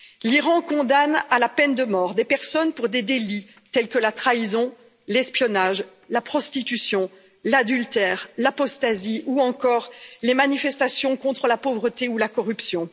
L'Iran condamne à la peine de mort des personnes pour des délits tels que la trahison, l'espionnage, la prostitution, l'adultère, l'apostasie ou encore les manifestations contre la pauvreté ou la corruption.